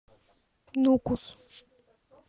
нукус